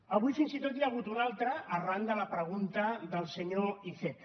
avui fins i tot n’hi ha hagut una altra arran de la pregunta del senyor iceta